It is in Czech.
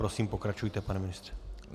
Prosím, pokračujte, pane ministře.